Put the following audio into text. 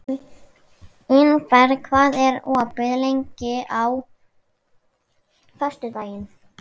Ingberg, hvað er opið lengi á föstudaginn?